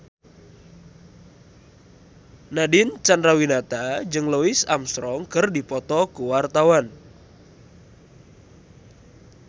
Nadine Chandrawinata jeung Louis Armstrong keur dipoto ku wartawan